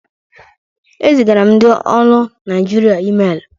E zigara m ndị olu Naịjirịa ịmelu.